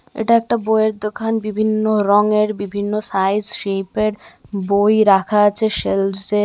এটা একটা বইয়ের দোকান বিভিন্ন রঙের বিভিন্ন সাইজ শেপ এর বই রাখা আছে সেলস্ এ।